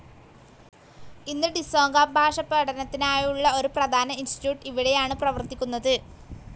ഇന്ന് ഡിസോങ്ക ഭാഷ പഠനത്തിനായുള്ള ഒരു പ്രധാന ഇൻസ്റ്റിറ്റ്യൂട്ട്‌ ഇവിടെയാണ് പ്രവർത്തിക്കുന്നത്.